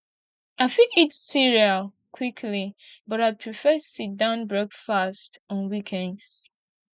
i fit eat cereal quickly but i prefer sitdown breakfast on weekends